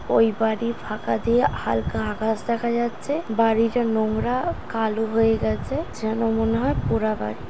ওই বাড়ির ফাঁকা দিয়ে হালকা আকাশ দেখা যাচ্ছে | বাড়িটা নোংরা কালো হয়ে গেছে যেন মনে হয় পোড়া বাড়ি |